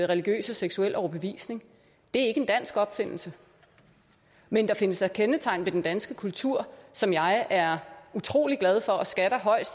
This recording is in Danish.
religiøs og seksuel overbevisning det er ikke en dansk opfindelse men der findes da kendetegn ved den danske kultur som jeg er utrolig glad for og skatter højt